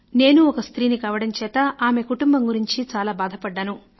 నేనూ ఒక స్త్రీని కావడం చేత ఆమె కుటుంబం గురించి బాధపడ్డాను